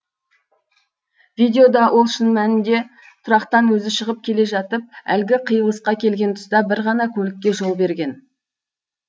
видеода ол шын мәнінде тұрақтан өзі шығып келе жатып әлгі қиылысқа келген тұста бір ғана көлікке жол берген